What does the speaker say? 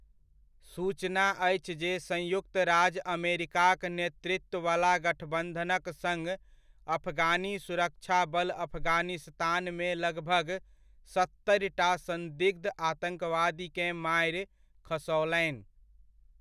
सूचना अछि जे संयुक्त राज्य अमेरिकाक नेतृत्ववला गठबन्धनक सङ्ग अफगानी सुरक्षा बल अफगानिस्तानमे लगभग सत्तरिटा सन्दिग्ध आतन्कवादीकेँ मारि खसओलनि।